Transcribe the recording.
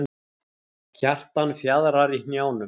Kjartan fjaðrar í hnjánum.